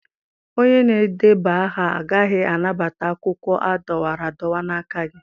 Onye na-edeba aha agaghị anabata akwụkwọ a dọwara adọwa n'aka gị.